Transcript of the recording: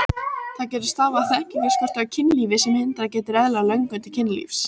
Það getur stafað af þekkingarskorti á kynlífi sem hindrað getur eðlilega löngun til kynlífs.